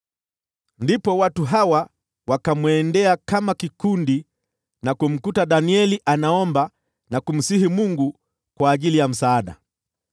Ndipo watu hawa wakaenda kama kikundi na kumkuta Danieli akiomba na kumsihi Mungu kwa ajili ya msaada.